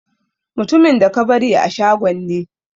Mutumin da ka bari a shagon ne.